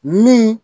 Min